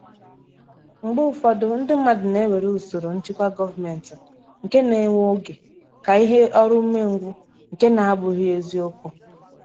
mgbe ufodu ndi mmadu na ewere usoro nchịkwa gọọmentị nke na-ewe oge ka um ihe oru ume um ngwu nke nabughi ezi okwu